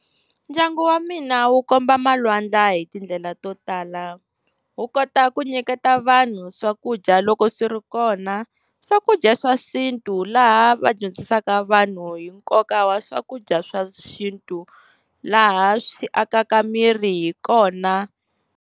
Ndyangu wa mina wu komba malwandla hi tindlela to tala, wu kota ku nyiketa vanhu swakudya loko swi ri kona swakudya swa xintu laha vadyondzisaka vanhu hi nkoka wa swakudya swa xintu, laha swi akaka miri hi kona.